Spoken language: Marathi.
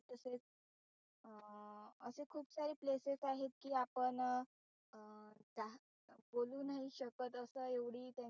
खूप सारे places आहेत कि आपण अं बोलू नाही शकत असं एवढी त्यां